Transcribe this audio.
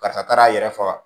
Karisa taara a yɛrɛ faga